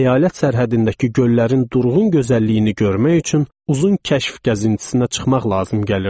Əyalət sərhədindəki göllərin durğun gözəlliyini görmək üçün uzun kəşf gəzintisinə çıxmaq lazım gəlirdi.